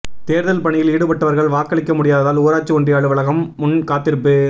தோ்தல் பணியில் ஈடுபட்டவா்கள் வாக்களிக்க முடியாததால் ஊராட்சி ஒன்றிய அலுவலகம் முன் காத்திருப்பு